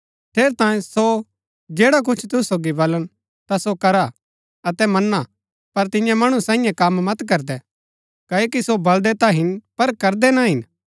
ठेरै तांयें सो जैडा कुछ तुसु सोगी बलन ता सो करा अतै मना पर तियां मणु साईयें कम मत करदै क्ओकि सो बलदै ता हिन पर करदै ना हिन